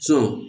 Sɔn